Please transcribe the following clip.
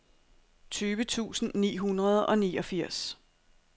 tyve tusind ni hundrede og niogfirs